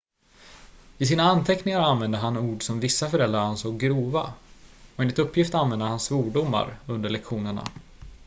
i sina anteckningar använde han ord som vissa föräldrar ansåg grova och enligt uppgift använde han svordomar under lektionerna